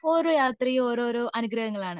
ഓരോ യാത്രയും ഓരോരോ അനുഗ്രഹങ്ങൾ ആണ്